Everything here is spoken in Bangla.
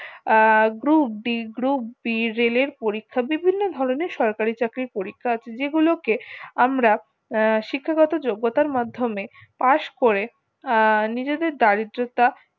আহ group d group b রেলের পরীক্ষা বিভিন্ন ধরণের সরকারি চাকরির পরীক্ষা আছে যেগুলোতে আমরা শিক্ষাগত যোগত্যার মাধ্যমে পাস্ করে আহ নিজেদের দারিদ্রতা